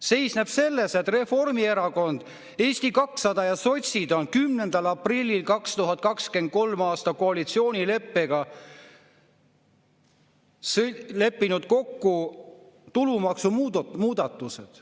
Seisneb selles, et Reformierakond, Eesti 200 ja sotsid on 10. aprillil 2023. aastal koalitsioonileppega leppinud kokku tulumaksumuudatused.